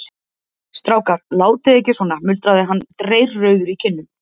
Strákar, látið ekki svona muldraði hann dreyrrauður í kinnum.